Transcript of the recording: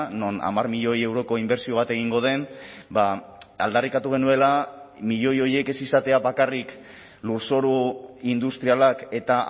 non hamar milioi euroko inbertsio bat egingo den aldarrikatu genuela milioi horiek ez izatea bakarrik lurzoru industrialak eta